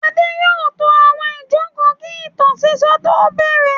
Adé yóò to àwọn ìjókòó kí ìtàn sísọ tó bẹ̀rẹ̀.